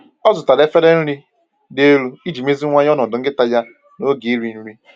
Ọ zụtara efere nri dị elu iji meziwanye ọnọdụ nkịta ya na na oge iri nri.